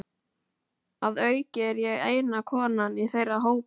Að auki er ég eina konan í þeirra hópi.